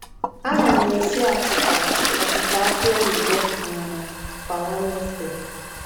Ana m esi achịcha achịcha aki oyibo um kwa Wednesde.